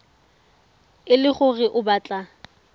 e le gore o batla